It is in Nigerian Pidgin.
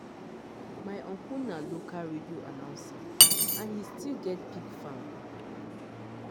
my uncle na local radio announcer and he still get pig farm.